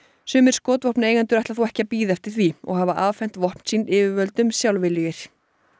sumir ætla þó ekki að bíða eftir því og hafa afhent vopn sín yfirvöldum sjálfviljugir